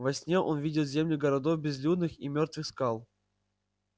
во сне он видел земли городов безлюдных и мёртвых скал